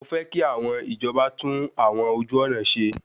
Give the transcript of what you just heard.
Mọ fẹ́ kí àwọn ìjọba tún àwọn ojú ọ̀nà ṣe.